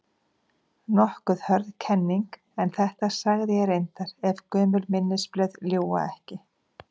Nokkuð hörð kenning, en þetta sagði ég reyndar- ef gömul minnisblöð ljúga ekki.